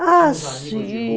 Ah, sim...